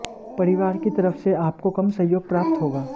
परिवार की तरफ से आपको कम सहयोग प्राप्त होगा